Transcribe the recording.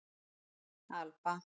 Alba